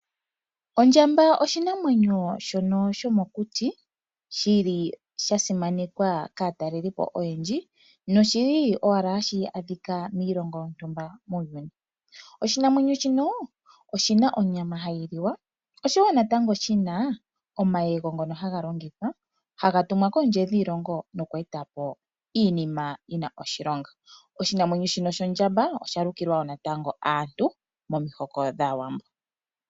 Ondjamba oshinamwenyo shono sho mokuti shili sha simanekwa kaatalelipo oyendji, noshili owala hashi adhika miilongo yontumba muuyuni. Oshinamwenyo shino oshina onyama hayi liwa osho woo natango shina omayego ngono haga longithwa haga tumwa koondje dhiilongo nokweetapo iinima yina oshilonga. Oshinamwenyo shino sho ndjamba osha lukilwa woo natango aantu momihoko dhaawambo.